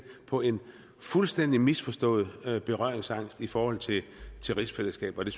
på en fuldstændig misforstået berøringsangst i forhold til rigsfællesskabet